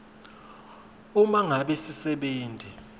uma ngabe sisebenti